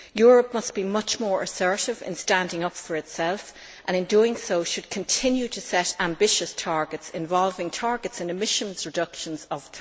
Europe must be much more assertive in standing up for itself and, in doing so, should continue to set ambitious targets involving targets and emissions reductions of